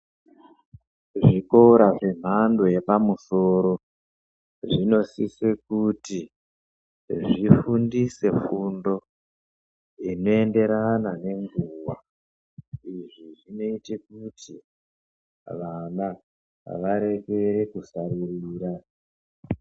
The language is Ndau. Zvikora zvenhando yepamusoro zvinosise kuti zvifundise fundo inoenderana nenguwa. Izvi zvinoite kuti vana varekere kusaririra.